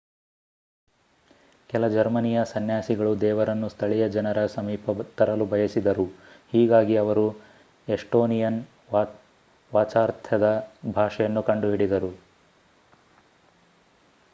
ಕೆಲ ಜರ್ಮನಿಯ ಸನ್ಯಾಸಿಗಳು ದೇವರನ್ನು ಸ್ಥಳೀಯ ಜನರ ಸಮೀಪ ತರಲು ಬಯಸಿದರು ಹೀಗಾಗಿ ಅವರು ಎಸ್ಟೋನಿಯನ್ ವಾಚ್ಯಾರ್ಥದ ಭಾಷೆಯನ್ನು ಕಂಡುಹಿಡಿದರು